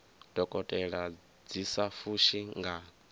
dokotela dzi sa fushi nga